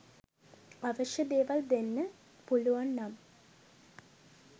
අවශ්‍ය දේවල් දෙන්න පුළුවන් නම්